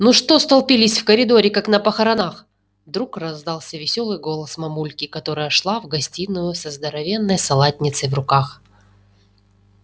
ну что столпились в коридоре как на похоронах вдруг раздался весёлый голос мамульки которая шла в гостиную со здоровенной салатницей в руках